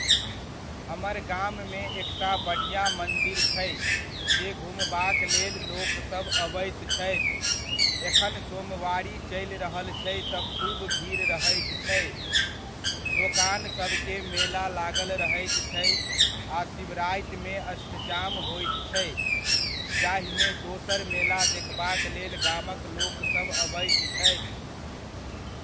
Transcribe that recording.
हमर गाममे एकटा बढ़िआँ मंदिर छै जे घुमबाक लेल लोकसब अबैत छथि, एखन सोमवारी चलि रहल छै तऽ खूब भीड़ रहैत छै, दोकान सबके मेला लागल रहैत छै आ शिवरातिमे अष्टजाम होइत छै, जाहिमे दोसर मेला देखबाक लेल गामक लोकसब अबैत छथि ।